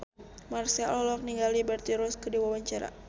Marchell olohok ningali Liberty Ross keur diwawancara